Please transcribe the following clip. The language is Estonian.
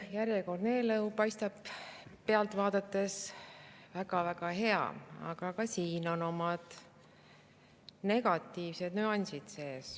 Järjekordne eelnõu paistab pealt vaadates väga-väga hea, aga ka siin on sees negatiivsed nüansid.